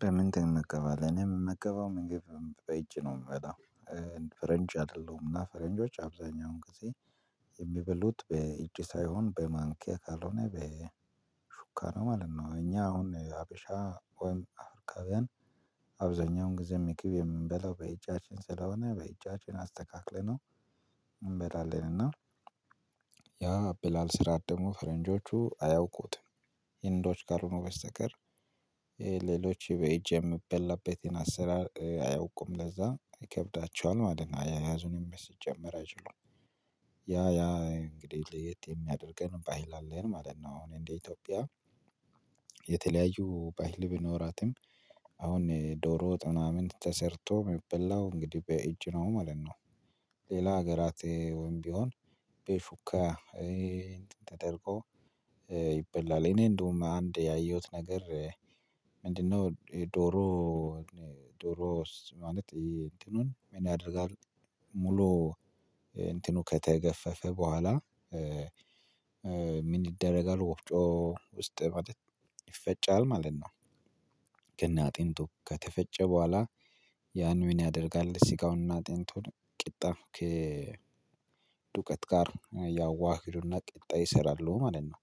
በምን ትመገባለህ? እኔ ምመገበው ምግብ በኢጅ ነው ምበላው። እ ፈረንጅ አደለሁም። እና ፈረንጆች አብዛኛውን ጊዜ እሚበሉት በኢጅ ሳይሆን በማንኪያ ካልሆነ በሹካ ነው ማለት ነው። እኛ አሁን ሀበሻ ወይም አውርቃውያን አብዛኛውን ጊዜ ሚግብ የምንበላው በኢጃችን ስለሆነ በኢጃችን አስተካክለነው እንበላለን። እና ያ አበላል ስራት ደግሞ ፈረንጆቹ አያውቁትም። ሂንዶች ካሎኑ በስተቀር ኤ ሌሎች በኢጅ የምበላበትን አሰራር ኧ አያውቁም። ለዛ ኢከብዳቸዋል ማለት ነው። አያያዙንም ሲጀመር አይችሉም። ያ ያ ኢንግዲህ ለየት የሚያደርገን ባሂል አለን ማለት ነው። አሁን እንደ ኢቶጦቢያ የተለያዩ ባሂል ቢኖራትም አሁን ዶሮ ወጥ ምናምን ተሰርቶ ሚበላው እንግዲ በኢጅ ነው ማለት ነው። ሌላ አገራት ወይም ቢሆን በሹካ ኤ እንትን ተደርጎ ይበላል። ኢኔ እንደውም አንድ ያየሁት ነገር እ ምንድነው ዶሮውን ዶሮ ስ ማለት ኢሄ እንትኑን ምን ያደርጋሉ ሙሉ እንትኑ ከተገፈፈ በኋላ እ ምን ይደረጋል ወፍጮ ውስጥ ማለት ይፈጫል ማለት ነው። ከናአጢንቱ ከተፈጨ ቧላ ያን ሚንያደርጋል ሲጋውንና አጢንቱን ቂጣ ከዱቀት ጋር ያዋህዱና ቂጣ ይሰራሉ ማለት ነው።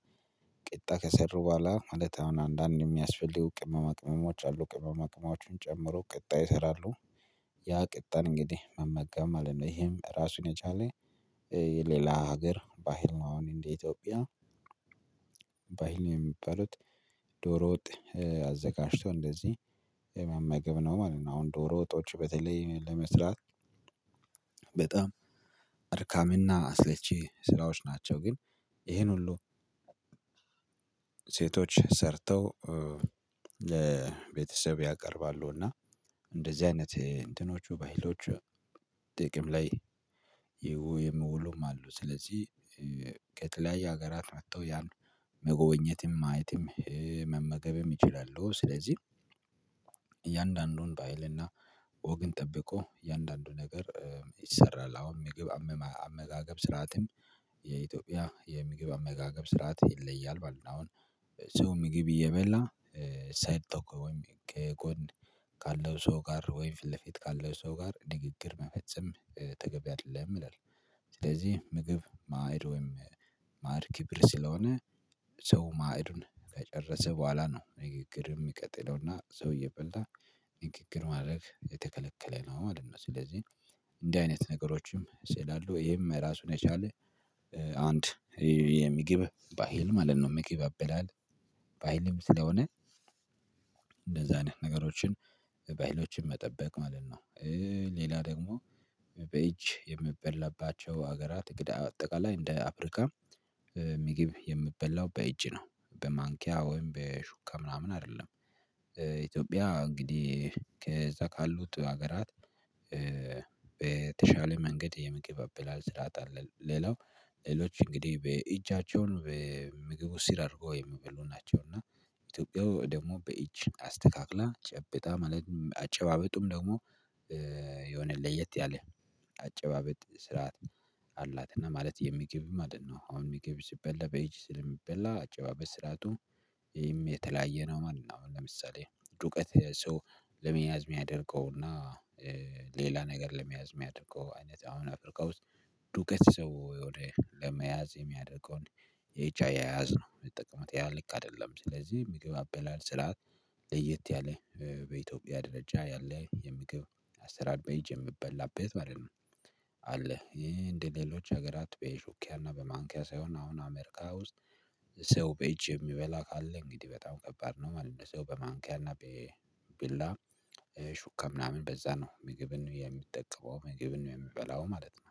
ቂጣ ከሰሩ ቧላ ማለት አሁን አንዳንድ እሚያስፈልጉ ቅመማ ቅመሞች አሉ። ቅመማ ቅማዎችን ጨምሮ ቅጣ ይይሰራሉ። ያ ቅጣን እንግዲህ መመገብ ማለት ነው። ኢሄም ራሱን የቻለ እ የሌላ ሀገር ባሂል ነው። አሁን እንደ ኢትዮፕያ ባሂል የሚባሉት ዶሮ ወጥ እ አዘጋጅቶ እንደዚ የመመገብ ነው ማለት ነው። አሁን ዶሮ ወጦች በተለይ ለመስራት በጣም አድካሚና አሰለቺ ስራዎች ናቸው። ግን ይኢሄን ሁሉ ሴቶች ሰርተው እ ለቤተሰብ ያቀርባሉ። እና እንደዚ አይነት እ እንትኖቹ ባሂሎቹ ጥቅም ላይ ይው የምውሉም አሉ። ስለዚ ከተለያዩ አገራት መተው ያሉ መጎብኘትም፣ ማየትም፣ ኢ መመገብም ይችላሉ። ስለዚ እያንዳንዱን ባሂል እና ወግን ጠብቆ እያንዳንዱ ነገር እ ይሰራል። አሁን ሚግብ አመማ አመጋገብ ስርዓትም የኢትዮጵያ የሚግብ አመጋገብ ስርዓት ይለያል ማለት ነው። አሁን ሰው ማጊብ እየበላ እ ሳይድ ቶክ ወይም ኬጎን ካለው ሰው ጋር ወይም ፊት ለፊት ካለው ሰው ጋር ኒግግር መፈጸም እ ተገቢ አይደለም ይላል። ስለዚ ምግብ፣ ማዕድ ወይም ማዕድ ኪብር ስለሆነ ሰው ማዕዱን ከጨረሰ ቧላ ነው ኒግግር ሚቀጥለውና ሰው እበላ ኒግግር ማድረግ የተከለከለ ማለት ነው። ስለዚ እንዲ አይነት ነገሮችም ሲላሉ ኢሄም ራሱን የቻለ እ አንድ እ የሚጊብ ባሂል ማለት ነው። ሚጊብ አበላል ባሂልም ስለሆነ እንደዛን ነገሮችን በሂሎችን መጠበቅ ማለት ነው። እ ሌላ ደግሞ በኢጅ የምበላባቸው አገራት እግዳ አጠቃላይ እንደ አፕሪካ ሚጊብ የሚበላው በእጅ ነው። በማንኪያ ወይም በሹካ ምናምን አደለም። ኢትዮጵያ እንግዲህ ከዛ ካሉት አገራት እ በተሻለ መንገድ የሚግብ አበላል ስርዓተ አለ። ሌላው ሌሎች እንግዲ በኢጃቸውን በሚግቡ ሲር አርገው የሚበሉ ናቸው። እና ኢትዮፕያው ደግሞ በኢጅ አስተካክላ ጨብጣ ማለት አጨባበጡም ደግሞ የሆነ ለየት ያለ አጨባበጥ ስርዓት አላት። እና ማለት የሚግብ ማለት ነው። አሁን ሚግብ ሲበላ በኢጅ ስለሚበላ አጨባበት ስርዓቱ ኢሂም የተለያየ ነው ማለት ነው። አሁን ለምሳሌ ዱቄት ሶው ለመያዝ ሚያደርገውና እ ሌላ ነገር ለመያዝ ሚያደርገው አይነት አሁን አፕሪካ ውስጥ ዱቀት ሰው ወደ ለመያዝ የሚያደርገውን የኢጅ አያያዝ ነው ሚጠቀሙት። ያ ልክ አደለም። ስለዚ ሚግብ አበላል ስርዓት ለየት ያለ እ በኢትዮጵያ ደረጃ ያለ የምግብ አሰራር በኢጅ የምበላበት ማለት ነው። አለ። ይሄ እንደሌሎች አገራት በሹኪያና በማንኪያ ሳይሆን አሁን አሜሪካ ውስጥ ሰው በኢጅ የሚበላ ካለ እንግዲ በጣም ከባድ ነው ማለት ነው። በማንኪያና ቤቢላ እ ሹካ ምናምን በዛ ነው ምግብን የሚጠቀመው፣ ምግብን የሚበላው ማለት ነው።